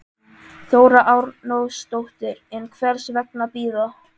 Þóra Arnórsdóttir: En hvers vegna bíða?